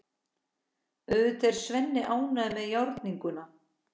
Auðvitað er Svenni ánægður með játninguna.